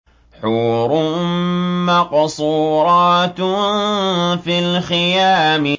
حُورٌ مَّقْصُورَاتٌ فِي الْخِيَامِ